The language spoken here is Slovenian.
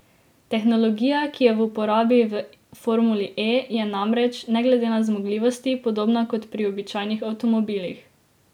Tehnologija, ki je v uporabi v Formuli E, je namreč, ne glede na zmogljivosti, podobna kot pri običajnih avtomobilih.